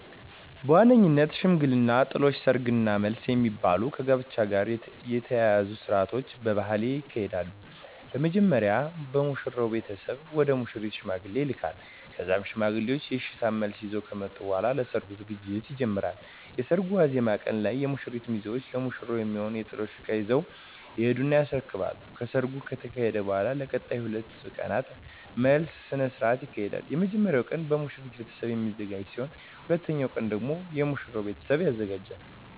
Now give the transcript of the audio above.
በዋነኝነት ሽምግልና፣ ጥሎሽ፣ ሰርግ እና መልስ የሚባሉ ከጋብቻ ጋር የተያያዙ ስርአቶች በባህሌ ይካሄዳሉ። በመጀመሪያ የሙሽራው ቤተሰብ ወደ ሙሽሪት ሽማግሌዎችን ይልካል ከዛም ሽማግሌዎቹ የእሽታ መልስ ይዘው ከመጡ በኃላ ለሰርጉ ዝግጅት ይጀመራል። የሰርጉ ዋዜማ ቀን ላይ የሙሽራው ሚዜዎች ለሙሽሪት የሚሆኑ የጥሎሽ እቃዎችን ይዘው ይሄዱና ያስረክባሉ። ከሰርጉ ከተካሄደ በኃላም ለቀጣይ 2 ቀናት መልስ ስነ ስርዓት ይካሄዳል። የመጀመሪያው ቀን በሙሽሪት ቤተሰብ የሚዘጋጅ ሲሆን ሁለተኛው ቀን ደግሞ የሙሽራው ቤተሰብ ያዘጋጃል።